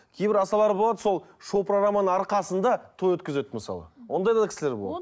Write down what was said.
кейбір асабалар болады сол шоу программаның арқасында той өткізеді мысалы ондай да кісілер болады